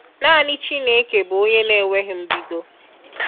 Nani Chineke bụ onye na-enweghi mbido.